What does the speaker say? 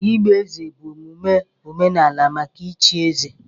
Ịgba eze bụ omume omenala maka ịchi eze.